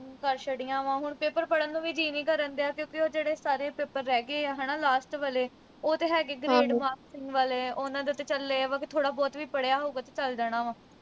ਕਰ ਛੱਡੀਆਂ ਵਾ। ਹੁਣ paper ਪੜ੍ਹਨ ਨੂੰ ਵੀ ਜੀਅ ਨੀ ਕਰਨ ਡਿਆ। ਕਿਉਂ ਕਿ ਉਹ ਸਾਰੇ paper ਰਹਿ ਗਏ ਆ ਹਨਾ last ਵਾਲੇ। ਉਹ ਤਾਂ ਹੈਗੇ ਹੀ grade marks ਵਾਲੇ ਆ। ਉਨ੍ਹਾਂ ਦਾ ਤਾਂ ਚੱਲ ਇਹ ਆ ਵਾ, ਵੀ ਥੋੜ੍ਹਾ ਬਹੁਤ ਵੀ ਪੜ੍ਹਿਆ ਹੋਊਗਾ ਤਾਂ ਚਲ ਜਾਣਾ ਵਾ